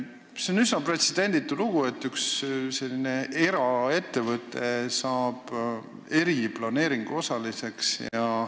See on üsna pretsedenditu lugu, et üks eraettevõte saab eriplaneeringu osaliseks.